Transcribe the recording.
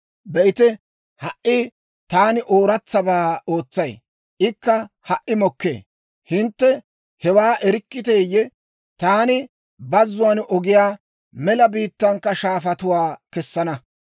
Be'ite, ha"i taani ooratsabaa ootsay; ikka ha"i mokkee. Hintte hewaa erikkiteeyye? Taani bazzuwaan ogiyaa, mela biittankka shaafatuwaa kessana.